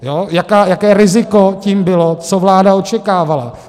Jaké riziko tím bylo, co vláda očekávala.